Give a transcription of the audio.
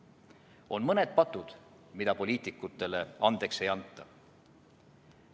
On mõned patud, mida poliitikutele andeks ei anta.